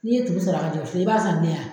N' i ye juru sɔrɔ i b'a san bilen wa?